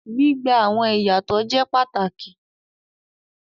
Gbigba awọn iyatọ jẹ pàtàkì